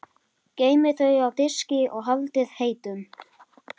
Geymið þau á diski og haldið heitum.